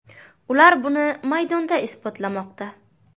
Ular buni maydonda isbotlamoqda.